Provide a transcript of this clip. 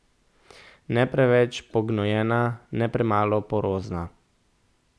Ne preveč pognojena, ne premalo porozna.